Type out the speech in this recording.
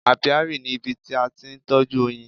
Apiary ni ibi tí a ti ń tọ́jú oyin.